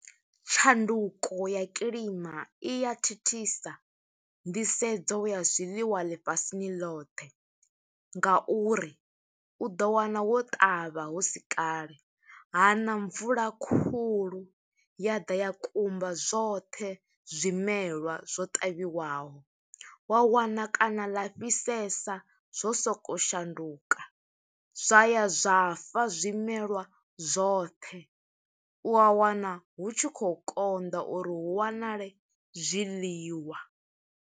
Tshanduko ya kilima i ya thithisa nḓisedzo ya zwiḽiwa ḽifhasini loṱhe, nga uri u ḓo wana wo ṱavha husi kale. Ha ṋa mvula khulu, ya ḓa ya kumba zwoṱhe zwimelwa zwo ṱavhiwaho. Wa wana kana ḽa fhisesa, zwo soko shanduka. Zwa ya zwa fa zwimelwa zwoṱhe, wa wana hu tshi khou konḓa uri hu wanale zwiḽiwa.